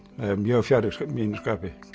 það er mjög fjarri mínu skapi